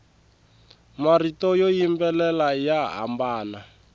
marito yo yimbelela ya hambana